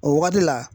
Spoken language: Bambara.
O wagati la